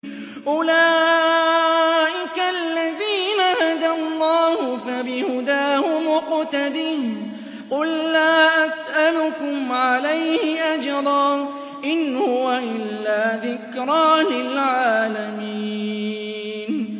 أُولَٰئِكَ الَّذِينَ هَدَى اللَّهُ ۖ فَبِهُدَاهُمُ اقْتَدِهْ ۗ قُل لَّا أَسْأَلُكُمْ عَلَيْهِ أَجْرًا ۖ إِنْ هُوَ إِلَّا ذِكْرَىٰ لِلْعَالَمِينَ